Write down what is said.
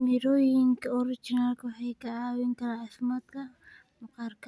Mirooyinka oranji waxay ka caawiyaan caafimaadka maqaarka.